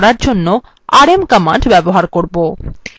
আমরা এটি করার জন্য rm command ব্যবহার করবো